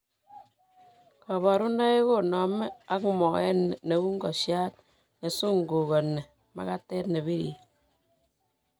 Kaborunoik konome ak moeet neuu ng'osiat nesungokoni makatet nebirir